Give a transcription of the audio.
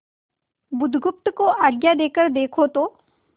बुधगुप्त को आज्ञा देकर देखो तो